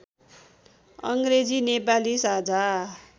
अङ्ग्रेजी नेपाली साझा